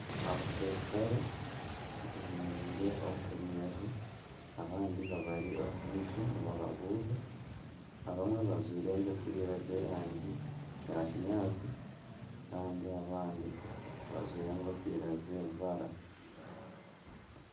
Abaserukare beemeriire omu runyerere abandi babari omu maisho nibababuuza abamwe bajwaire enkofiira z'erangi ya kinyaatsi kandi abandi bajwire enkofiira z'ebibara